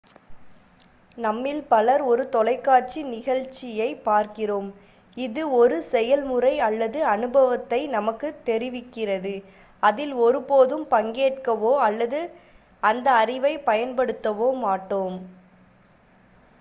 நம்மில் பலர் ஒரு தொலைக்காட்சி நிகழ்ச்சியைப் பார்க்கிறோம் இது ஒரு செயல்முறை அல்லது அனுபவத்தை நமக்குத் தெரிவிக்கிறது அதில் ஒருபோதும் பங்கேற்கவோ அல்லது அந்த அறிவைப் பயன்படுத்தவோ மாட்டோம்